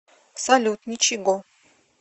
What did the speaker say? салют ничего